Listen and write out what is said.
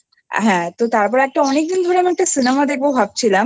হ্যা তো তারপরে একটা অনেকদিন ধরে একটা Cinema দেখবো।